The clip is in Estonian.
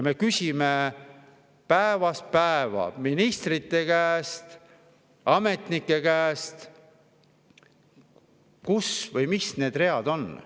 Me küsime päevast päeva ministrite käest ja ka ametnike käest, kus need read on või mis need on.